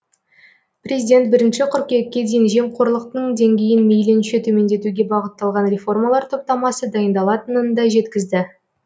президент бірінші қыркүйекке дейін жемқорлықтың деңгейін мейлінше төмендетуге бағытталған реформалар топтамасы дайындалатынын да жеткізді